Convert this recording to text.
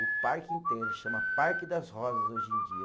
O parque inteiro chama Parque das Rosas hoje em dia.